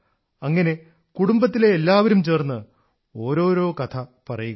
അങ്ങനെ കുടുംബത്തിലെ എല്ലാവരും ചേർന്ന് ഓരോരോ കഥ പറയുക